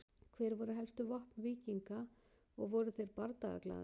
Hver voru helstu vopn víkinga og voru þeir bardagaglaðir?